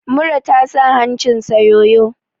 Mura ta sa hancinsa yoyo!